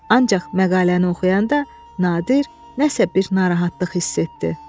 Ancaq məqaləni oxuyanda Nadir nə isə bir narahatlıq hiss etdi.